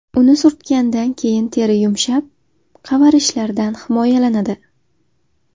Uni surtgandan keyin teri yumshab, qavarishlardan himoyalanadi.